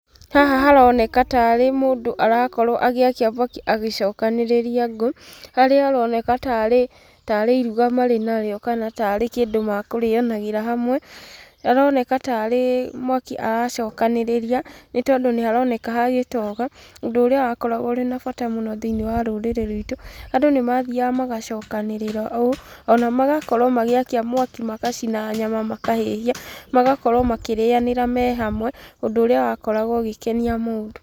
Haha haroneka tarĩ mũndũ arakorwo agĩakia mwaki agĩcokanĩrĩria ngũũ. Harĩa aroneka tarĩ, tarĩ iruga marĩ narĩo kana ta arĩ kĩndũ mekũrĩanagĩra hamwe. Aroneka tarĩ mwaki aracokanĩrĩria, nĩ tondũ nĩ haroneka hagĩtoga, ũndũ ũrĩa wakoragwo ũrĩ na bata mũno thĩinĩ wa rũrĩrĩ ruitũ. Andũ nĩ mathiaga magacokanĩrĩra ũũ, ona magakorwo magĩakia mwaki magacina nyama makahĩhia, magakorwo makĩrĩanĩra me hamwe, ũndũ ũrĩa wakoragwo ũgĩkenia mũndũ.